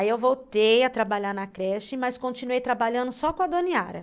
Aí eu voltei a trabalhar na creche, mas continuei trabalhando só com a Dona Yara.